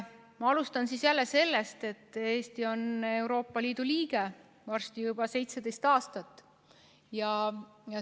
Ma alustan jälle sellest, et Eesti on Euroopa Liidu liige varsti juba 17 aastat.